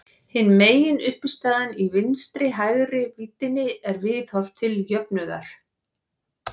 Hin meginuppistaðan í vinstri-hægri víddinni er viðhorf til jöfnuðar.